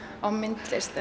á myndlist